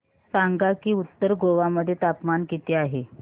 सांगा की उत्तर गोवा मध्ये तापमान किती आहे